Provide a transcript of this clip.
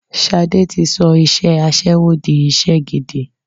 Ṣadé tí sọ iṣẹ́ aṣẹ́wó di iṣẹ́ gidi